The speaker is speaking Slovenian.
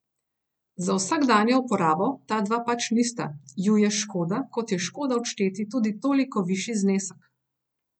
Za vsakdanjo uporabo ta dva pač nista, ju je škoda, kot je škoda odšteti tudi toliko višji znesek.